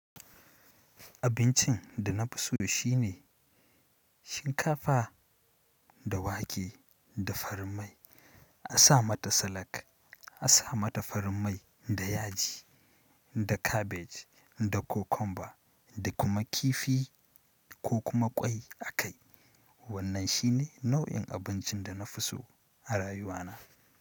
Abincin da na fi so shine shinkafa da wake da farin mai. A sa mata salak, a sa mata farin mai da yaji, da kabej, da cucumber da kuma kifi ko kuma ƙwai a kai. Wannan shi ne nau'in abincin da na fi so a rayuwana.